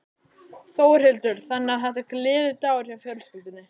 Þórhildur: Þannig að þetta er gleðidagur hjá fjölskyldunni?